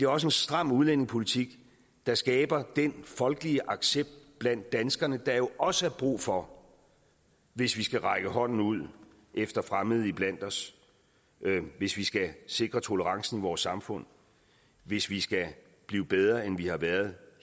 også en stram udlændingepolitik der skaber den folkelige accept blandt danskerne der jo også er brug for hvis vi skal række hånden ud efter fremmede iblandt os hvis vi skal sikre tolerancen i vores samfund hvis vi skal blive bedre end vi har været